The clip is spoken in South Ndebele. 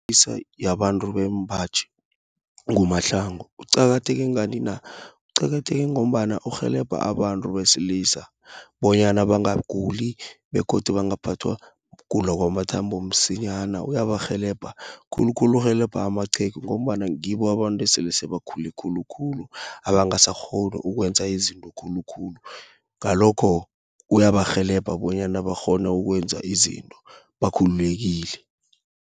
yabantu bembaji, nguMahlangu. Uqakatheke ngani na? Uqakatheke ngombana urhelebha abantu besilisa bonyana bangaguli, begodu bangaphathwa gula kwamathambo msinyana. Uyabarhelebha, khulukhulu urhelebha amaqhegu, ngombana ngibo abantu esele sebakhule khulukhulu abangasakghoni ukwenza izinto khulukhulu. Ngalokho uyabarhelebha, bonyana bakghone ukwenza izinto, bakhululekile.